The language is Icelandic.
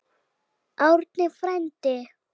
Árni frændi!